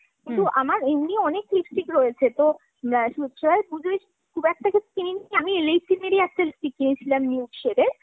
কিন্তু আমার এমনি অনেক lipstick রয়েছে তো, সেভাবে পুজোয় খুব একটা কিছু কিনিনি। আমি Elle eighteen এর ই একটা lipstick কিনেছিলাম nude shade এর।